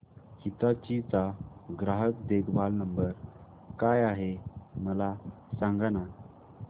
हिताची चा ग्राहक देखभाल नंबर काय आहे मला सांगाना